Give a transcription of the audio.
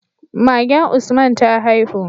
Magen Usman ta haihu